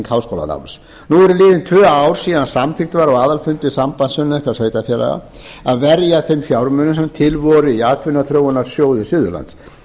háskólanáms nú eru liðin tvö ár síðan samþykkt var á aðalfundi sass að verja þeim fjármunum sem til voru í atvinnuþróunarsjóði suðurlands